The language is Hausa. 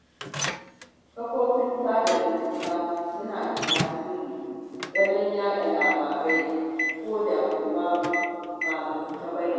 Kafofin sada zumunta suna da tasiri wajen yaɗa labarai, ko da kuwa ba gaskiya ba ne.